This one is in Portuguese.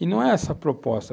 E não é essa a proposta.